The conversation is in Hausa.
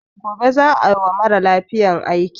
Gobe za a wa mara lafiyan aiki.